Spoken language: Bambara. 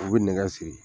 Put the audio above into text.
U bɛ nɛgɛ siri